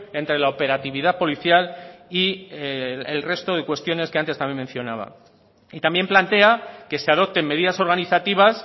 entre la operatividad policial y el resto de cuestiones que antes también mencionaba y también plantea que se adopten medidas organizativas